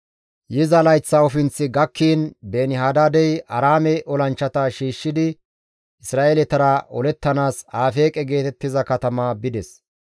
Yiza layththa ofinththi gakkiin Beeni-Hadaadey Aaraame olanchchata shiishshidi Isra7eeletara olettanaas Afeeqe geetettiza katama bides.